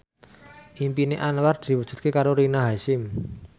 impine Anwar diwujudke karo Rina Hasyim